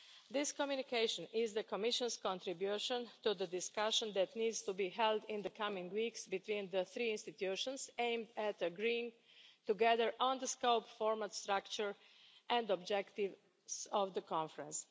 This Communication is the Commission's contribution to the discussion that needs to be held in the coming weeks between the three institutions aimed at agreeing together on the scope, formal structure and objectives of the Conference.